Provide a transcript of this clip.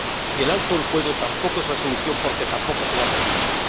Y el alto el fuego tampoco es la solución, porque tampoco se va a producir.